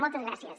moltes gràcies